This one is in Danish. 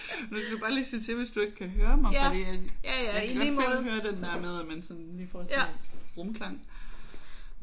Hvis du bare lige siger til hvis du ikke kan høre mig fordi at jeg kan godt selv høre den der med at man sådan lige sådan får sådan en rumklang